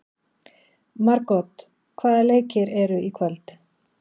Margot, hvaða leikir eru í kvöld?